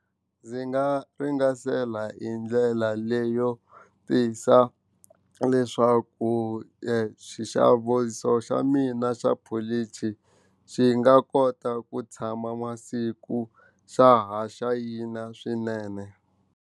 Ndzi nga hi ndlela leyo tisa leswaku xa mina xa polichi xi nga kota ku tshama masiku xa ha xayina swinene.